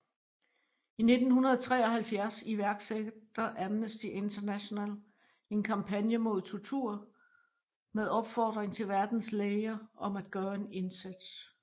I 1973 iværksætter Amnesty International en kampagne mod tortur med opfordring til verdens læger om at gøre en indsats